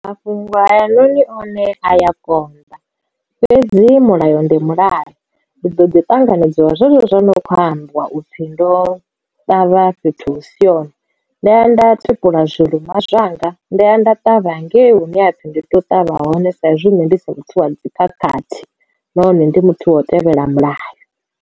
Mafhungo hayanoni one a ya konḓa fhedzi mulayo ndi mulayo ndi ḓo ḓi tanganedzwa zwezwo zwi no kho ambiwa u pfhi ndo ṱavha fhethu hu si hone nda ya nda tupula zwilinwa zwanga nda ya nda ṱavha hangei hune hapfi ndi to ṱavha hone sa izwi nne ndisi muthu wa dzikhakhathi nahone ndi muthu wa u tevhela mulayo.